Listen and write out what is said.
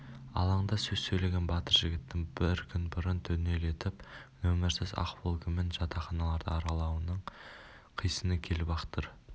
алаңда сөз сөйлеген батыр жігіттің бір күн бұрын түнделетіп нөмірсіз ақ волгамен жатақханаларды аралауының қисыны келіп-ақ тұр